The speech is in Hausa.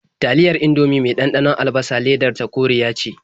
Taliyar Indomie mai ɗanɗanon albasa ledar ta koriya ce.